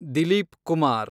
Dilip Kumar